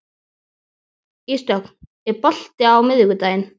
Ísdögg, er bolti á miðvikudaginn?